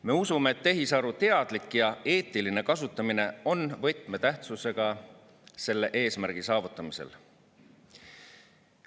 Me usume, et tehisaru teadlik ja eetiline kasutamine on võtmetähtsusega selle eesmärgi saavutamisel.